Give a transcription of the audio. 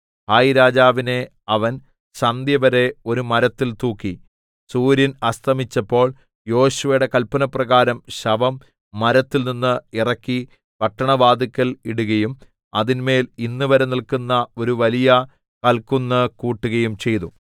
ഹായിരാജാവിനെ അവൻ സന്ധ്യവരെ ഒരു മരത്തിൽ തൂക്കി സൂര്യൻ അസ്തമിച്ചപ്പോൾ യോശുവയുടെ കല്പനപ്രകാരം ശവം മരത്തിൽനിന്ന് ഇറക്കി പട്ടണവാതില്ക്കൽ ഇടുകയും അതിന്മേൽ ഇന്നുവരെ നില്ക്കുന്ന ഒരു വലിയ കല്ക്കുന്ന് കൂട്ടുകയും ചെയ്തു